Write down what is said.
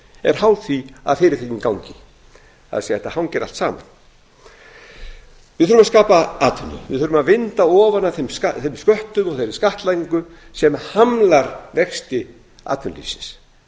er háð því að fyrirtækin gangi af því að þetta hangir allt saman við þurfum að skapa atvinnu við þurfum að vinda ofan af þeim sköttum og þeirri skattlagningu sem hamlar vexti atvinnulífsins